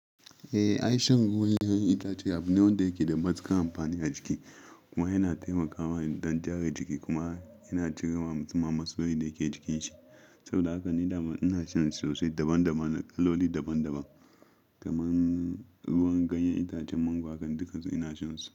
Eh, ai shan ruwan 'ya'yan itace abu ne wanda yake da matuƙar amfani a jiki kuma yana taimakawa don gyara jiki kuma yana cirewa musamman masoyi da ke jikin shi. Saboda haka ina son shi sossai. Daban daban, kaloli daban-daban. Kaman ruwan ganyen itacen mangwaro haka, dukan su ina shansu.